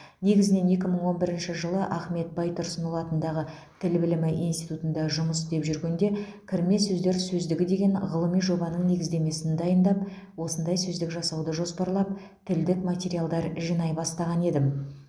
негізінен екі мың он бірінші жылы ахмет байтұрсынұлы атындағы тіл білімі институтында жұмыс істеп жүргенде кірме сөздер сөздігі деген ғылыми жобаның негіздемесін дайындап осындай сөздік жасауды жоспарлап тілдік материалдар жинай бастаған едім